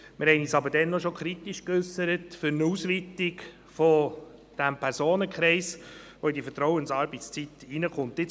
Wir haben uns aber bereits damals kritisch zu einer Ausweitung des Personenkreises geäussert, für welche die Vertrauensarbeitszeit gelten soll.